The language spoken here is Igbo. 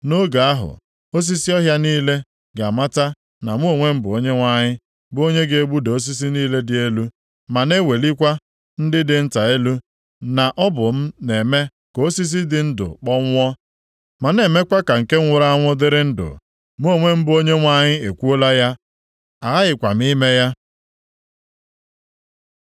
Nʼoge ahụ, osisi ọhịa niile ga-amata na mụ onwe m bụ Onyenwe anyị, bụ onye na-egbuda osisi niile dị elu, ma na-ewelikwa ndị dị nta elu. Na ọ bụ m na-eme ka osisi dị ndụ kpọnwụọ, ma na-emekwa ka nke nwụrụ anwụ dịrị ndụ. “ ‘Mụ onwe m bụ Onyenwe anyị ekwuola ya. Aghakwaghị m ime ya.’ ”